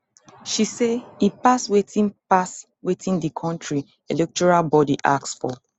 she say e pass wetin pass wetin di kontri electoral body ask for